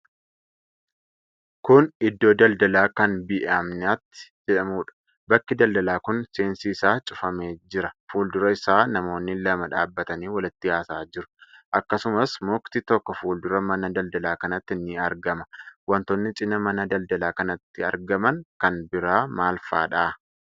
Kun Iddoo daldalaa kan Bee'imnati jedhamuudha. Bakki daldalaa kun seensi isaa cufamee jira Fuuldura isaa namoonni lama dhaabatanii walitti haasa'aa jiru. Akkasumas mukti tokko fuuldura mana daldalaa kanatti ni argama. Wantoonni cinaa mana daldalaa kanatti argaman kan biraa maal fa'aadha?